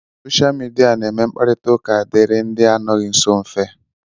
Soshia Midia na-eme ka mkparita ụka dịịrị ndị anọghị nsọ mfe.